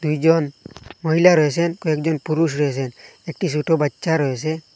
দুইজন মহিলা রয়েছেন কয়েকজন পুরুষ রয়েছেন একটি ছোট বাচ্চা রয়েসে।